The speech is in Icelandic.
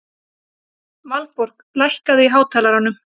Valborg, lækkaðu í hátalaranum.